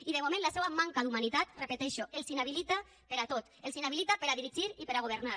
i de moment la seua manca d’humanitat ho repeteixo els inhabilita per a tot els inhabilita per a dirigir i per a governar